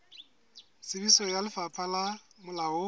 tsebiso ya lefapha le molaong